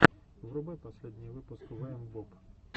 врубай последний выпуск вээмбоб